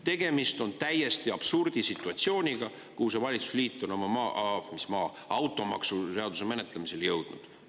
Tegemist on täiesti absurdisituatsiooniga, kuhu see valitsusliit on oma automaksuseaduse menetlemisel jõudnud.